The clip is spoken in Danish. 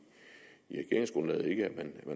man